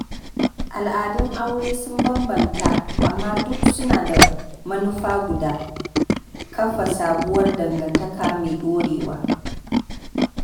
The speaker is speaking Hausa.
Al'adun aure sun bambanta, amma duk suna da manufa guda: kafa sabuwar dangantaka mai ɗorewa.